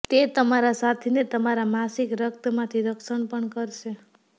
તે તમારા સાથીને તમારા માસિક રક્તમાંથી રક્ષણ પણ કરશે